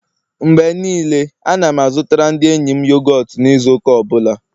Mgbe niile, Ana m azụtara ndi enyi m yogọt n'izu ụka ọ bụla